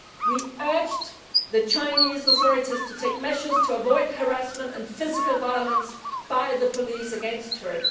We urged the Chinese authorities to take measures to avoid harassment and physical violence by the police against her.